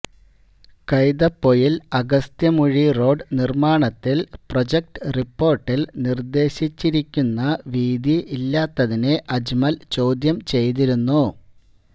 Kaithapoyil Agasthyamuzhi road നിർമാണത്തിൽ project റിപ്പോർട്ടിൽ നിർദ്ദേശിച്ചിരിക്കുന്ന വീതി ഇല്ലാത്തതിനെ അജ്മൽ ചോദ്യം ചെയ്തിരുന്നു